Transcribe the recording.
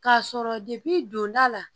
K'a sɔrɔ don da la